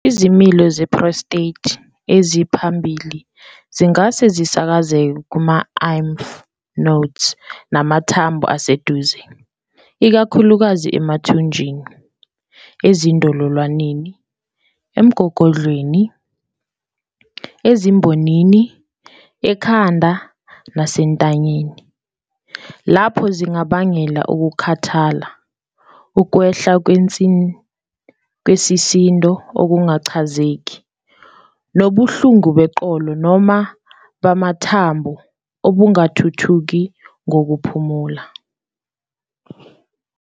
Izimila ze-prostate eziphambili zingase zisakazeke kuma-lymph nodes namathambo aseduze, ikakhulukazi emathunjini, ezindololwaneni, emgogodleni, ezimbonini, ekhanda, nasentanyeni. Lapho zingabangela Ukukhathala, ukwehla kwesisindo okungachazeki, nobuhlungu beqolo noma bamathambo obungathuthuki ngokuphumula.